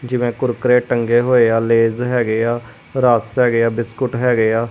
ਜੀਵੇਂ ਕੁਰਕਰੇ ਟੰਗੇ ਹੋਏ ਆ ਲੈਏਸ ਹੈਗੇ ਆ ਰਸ ਹੈਗੇ ਆ ਬਿਸਕੁਟ ਹੈਗੇ ਆ।